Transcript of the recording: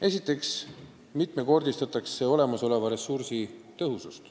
Esiteks mitmekordistatakse olemasoleva ressursi tõhusust.